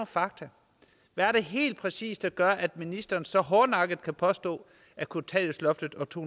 fakta hvad er det helt præcis der gør at ministeren så hårdnakket kan påstå at kontanthjælpsloftet og to